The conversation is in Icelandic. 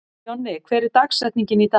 Jonni, hver er dagsetningin í dag?